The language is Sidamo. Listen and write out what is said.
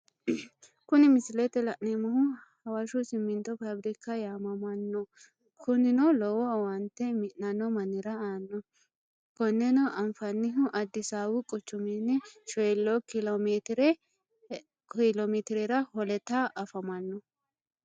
Kuni misilete la'neemohu hawashu simintote fabirika yaamamano, kunino lowo owaante mi'nanno manira aano, koneno anfanihu adisaawu quchumini 40 kiilo metirera holetta afamano